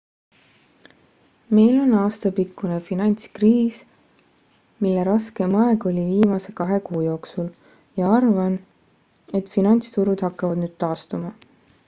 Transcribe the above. meil on aastapikkune finantskriis mille raskeim aeg oli viimase kahe kuu jooksul ja arvan et finantsturud hakkavad nüüd taastuma